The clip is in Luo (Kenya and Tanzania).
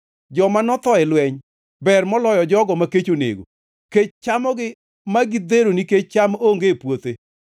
Joma notho e lweny ber moloyo jogo ma kech onego; kech chamogi ma gidhero nikech cham onge e puothe.